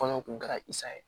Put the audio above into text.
Kɔɲɔ kun kɛra i sa ye